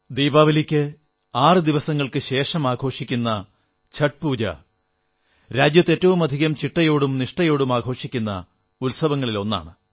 ദീപാവലിക്ക് ആറു ദിവസങ്ങൾക്കുശേഷം ആഘോഷിക്കുന്ന ഛഠ് പൂജ രാജ്യത്ത് ഏറ്റവുമധികം ചിട്ടയോടും നിഷ്ഠയോടും ആഘോഷിക്കുന്ന ഉത്സവങ്ങളിലൊന്നാണ്